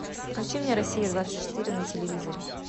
включи мне россия двадцать четыре на телевизоре